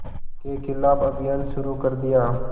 के ख़िलाफ़ अभियान शुरू कर दिया